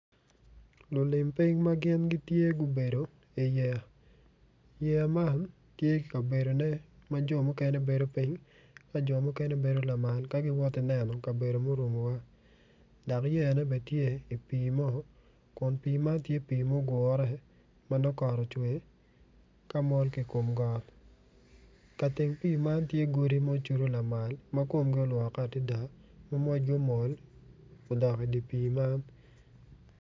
Lulim piny ma gin gitye gubedo i yeya yeya man tye ki bedo mukene ma dano gibedo piny ka jo mukene gibedo lamal ka giwoto ki neno kabedo murumowa dok yeyane bene tye i pii mo kun pii man tye pii mugure.